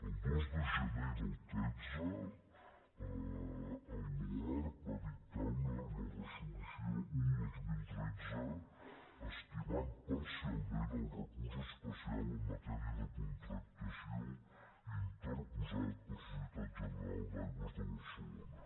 el dos de gener del tretze l’oarcc va dictar la resolució un dos mil tretze estimant parcialment el recurs especial en ma·tèria de contractació interposat per societat general d’aigües de barcelona